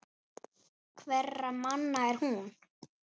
Hverra manna er hún?